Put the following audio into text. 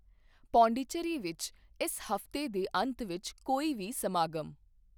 ਪਾਂਡੀਚਰੀ ਵਿੱਚ ਇਸ ਹਫ਼ਤੇ ਦੇ ਅੰਤ ਵਿੱਚ ਕੋਈ ਵੀ ਸਮਾਗਮ